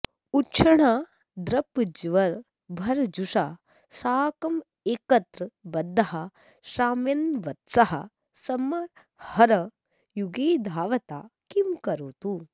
उक्ष्णा दर्पज्वरभरजुषा साकमेकत्र बद्धः श्राम्यन्वत्सः स्मरहर युगे धावता किं करोतु